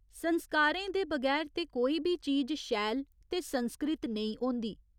संस्कारे दे बगैर ते कोई बी चीज़ शैल ते संस्कृत नेईं होंदी।